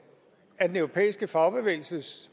af den europæiske fagbevægelses